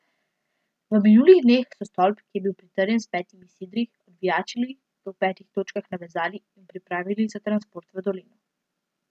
V minulih dneh so stolp, ki je bil pritrjen s petimi sidri, odvijačili, ga v petih točkah navezali in pripravili za transport v dolino.